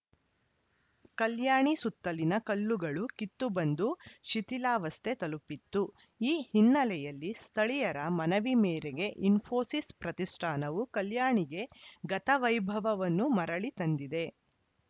ಕಲ್ಯಾಣಿ ಸುತ್ತಲಿನ ಕಲ್ಲುಗಳು ಕಿತ್ತು ಬಂದು ಶಿಥಿಲಾವಸ್ಥೆ ತಲುಪಿತ್ತು ಈ ಹಿನ್ನೆಲೆಯಲ್ಲಿ ಸ್ಥಳೀಯರ ಮನವಿ ಮೇರೆಗೆ ಇಸ್ಫೋಸಿಸ್‌ ಪ್ರತಿಷ್ಠಾನವು ಕಲ್ಯಾಣಿಗೆ ಗತವೈಭವವನ್ನು ಮರಳಿ ತಂದಿದೆ